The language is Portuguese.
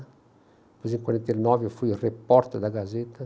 Depois, em quarenta e nove, eu fui repórter da Gazeta.